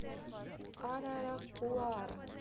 араракуара